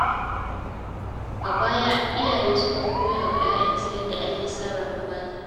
A baya, iyaye sukan koya wa ‘ya’yansu yadda ake sarrafa fata.